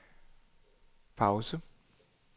pause